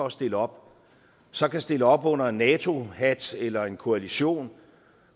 at stille op så kan stille op under en nato hat eller en koalition